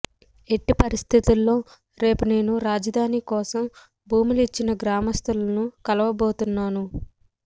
ఎట్టి పరిస్థితుల్లో రేపు నేను రాజధాని కోసం భూములు ఇచ్చిన గ్రామస్తులను కలువబోతున్నాను